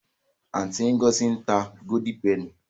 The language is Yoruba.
Aunty Ngozi n ta Golden Penny.